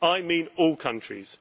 I mean all countries.